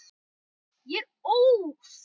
Ég er óð.